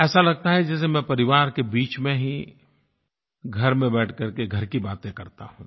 ऐसा लगता है जैसे मैं परिवार के बीच में ही घर में बैठ करके घर की बातें करता हूँ